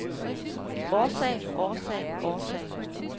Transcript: årsag årsag årsag